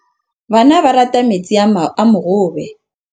Bana ba rata metsi a mogobe.